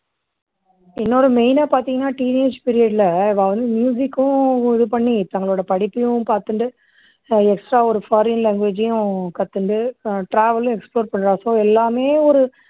எனோட main னா பார்த்தீங்கனா teen age period ல அவா வந்து music க்கும் இது பண்ணி தங்களோடபடிப்பையும் பார்த்துட்டு ஆஹ் extra ஒரு foreign language அயும் கத்துட்டு travel explore பண்ற அப்போ எல்லாமே ஒரு